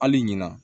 Hali ɲina